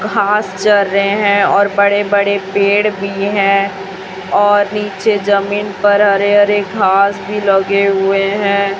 घास चर रहे हैं और बड़े बड़े पेड़ भी हैं और नीचे जमीन पर हरे हरे घास भी लगे हुए हैं।